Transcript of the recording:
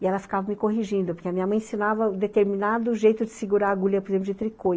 E ela ficava me corrigindo, porque a minha mãe ensinava determinado jeito de segurar agulha, por exemplo, de tricô.